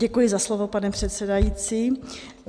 Děkuji za slovo, pane předsedající.